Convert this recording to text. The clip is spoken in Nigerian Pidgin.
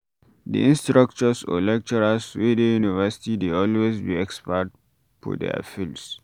Di instructors or lecturers wey de university dey always be expert for their fields